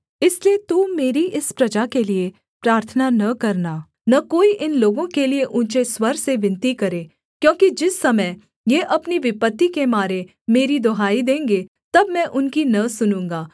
इसलिए तू मेरी इस प्रजा के लिये प्रार्थना न करना न कोई इन लोगों के लिये ऊँचे स्वर से विनती करे क्योंकि जिस समय ये अपनी विपत्ति के मारे मेरी दुहाई देंगे तब मैं उनकी न सुनूँगा